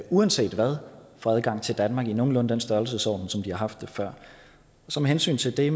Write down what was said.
uanset hvad få adgang til danmark i nogenlunde den størrelsesorden som de har haft det før så med hensyn til det